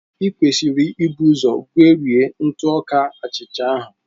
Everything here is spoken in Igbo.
I kwesịrị ibu ụzọ gwerie ntụ ọka achịcha ahụ.